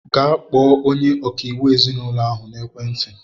Gaa kpọọ onye ọkaiwu ezinaụlọ ahụ na-ekwe ntị!